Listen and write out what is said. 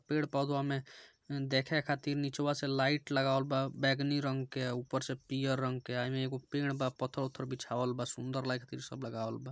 पेड़ पौधों में देखे खातिर निचुआ से लाइट लगावल बा बैगनी रंग के ऊपर से पीला रंग के अ इमें एक पेड़ बा पत्थर-उत्थर बिछाया बा सुंदर लाइट सब लगुल बा।